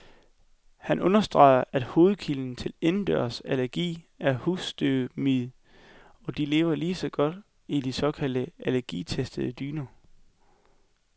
Han understreger, at hovedkilden til indendørsallergi er husstøvmiden, og de lever lige så godt i de såkaldt allergitestede dyner.